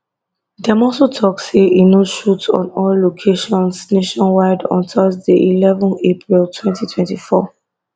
dem also tok say no shoot on all locations nationwide on thursday eleven april twentty twenty four